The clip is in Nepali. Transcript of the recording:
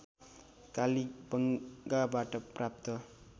कालीबंगाबाट प्राप्त